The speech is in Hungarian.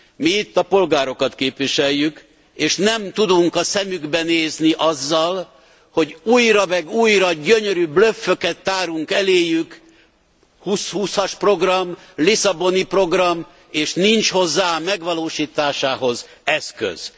Mi itt a polgárokat képviseljük, és nem tudunk a szemükbe nézni azzal, hogy újra meg újra gyönyörű blöfföket tárunk eléjük 2020 as program, Lisszaboni Program és nincs hozzá, a megvalósításához eszköz.